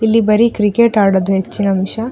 ಇಲ್ಲಿ ಬರೀ ಕ್ರಿಕೆಟ್ ಆಡೋದು ಹೆಚ್ಚಿನ ಅಂಶ.